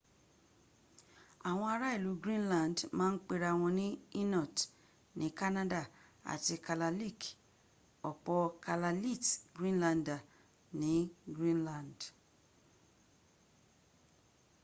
àwọn ará ìlú greenland ma ń pera wọ́n ní inuit ní canada àti kalaalleq ọ̀pọ̀ kalaallit greenlander ní greenland